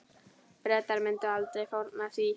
Bretar myndu aldrei fórna því.